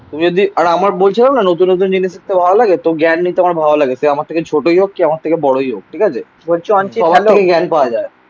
তুমি যদি আর আমার বলছিলাম না নতুন নতুন জিনিস দেখতে ভালো লাগে. তো জ্ঞান নিয়ে তো আমার ভালো লাগে. সে আমার থেকে ছোটই হোক. কে আমার থেকে বড়ই হোক. ঠিক আছে সবার থেকে জ্ঞান পাওয়া যাই